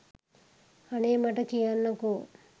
අනේ මට කියන්නකෝ